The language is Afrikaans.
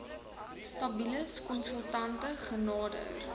stabilis konsultante genader